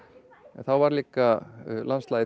en þá var landslagið